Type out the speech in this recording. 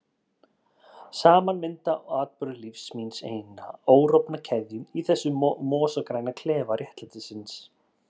Saman mynda atburðir lífs míns eina órofna keðju í þessum mosagræna klefa réttlætisins.